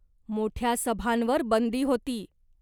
मोठ्या सभांवर बंदी होती.